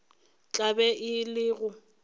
tla be e le ge